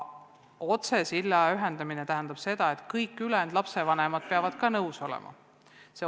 Otsesilla kaudu ühenduse loomine tähendab seda, et ka kõik ülejäänud lapsevanemad peavad sellega nõus olema.